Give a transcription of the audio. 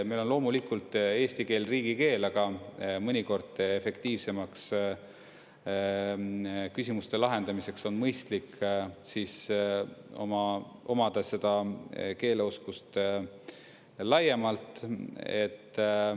Meil on loomulikult eesti keel riigikeel, aga mõnikord efektiivsemaks küsimuste lahendamiseks on mõistlik omada seda keeleoskust laiemalt.